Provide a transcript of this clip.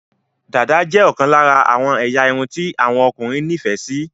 Dàda jé okan lara àwon eya irun ti àwon okunrin ní ìfẹ sí